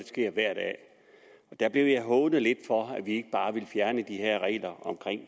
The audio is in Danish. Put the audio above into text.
sker hver dag der blev jeg hånet lidt for at vi ikke bare ville fjerne de her regler om